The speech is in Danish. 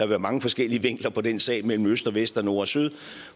være mange forskellige vinkler på den sag mellem øst og vest og nord og syd